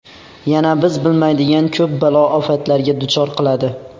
Yana biz bilmaydigan ko‘p balo-ofatlarga duchor qiladi.